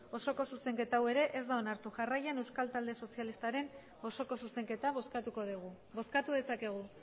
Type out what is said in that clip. osoko zuzenketa hau ere ez da onartu jarraian euskal talde sozialistaren osoko zuzenketa bozkatuko dugu bozkatu dezakegu